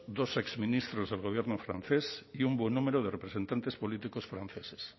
dos exministros del gobierno francés y un buen número de representantes políticos franceses